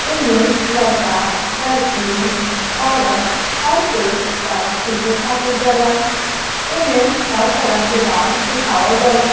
एमे लड़का लड़की औरत हर कोई डांस सीखे खातिर जाला एमे हर तरह के डांस सिखावल जाला।